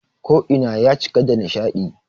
Ko ina ya cika da nishaɗi